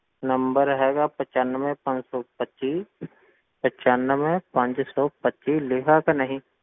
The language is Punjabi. Number ਹੈਗਾ ਪਚਾਨਵੇਂ ਪੰਜ ਸੌ ਪੱਚੀ ਪਚਾਨਵੇਂ ਪੰਜ ਸੌ ਪੱਚੀ ਲਿਖਿਆ ਕਿ ਨਹੀਂ,